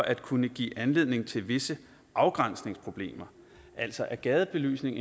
at kunne give anledning til visse afgrænsningsproblemer altså er gadebelysning